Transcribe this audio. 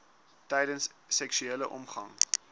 tydens seksuele omgang